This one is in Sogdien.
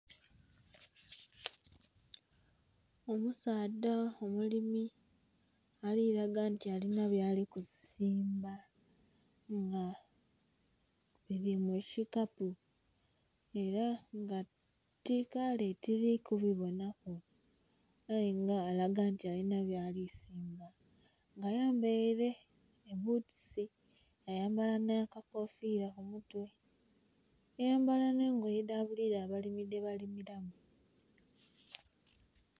Omusaadha omulimi ali laga nti alina byali kusimba nga bili mu kikapu era nga kale tili ku bibonaku, aye nga alaga nti alina byali simba nga ayambaile ebbutusi yayambala nh'akakofiira ku mutwe, yayambala nh'engoye edha buli idho abalimi dhebalimilamu.